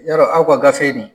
Yɔrɔ aw ka gafe nin